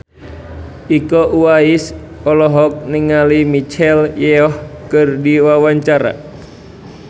Iko Uwais olohok ningali Michelle Yeoh keur diwawancara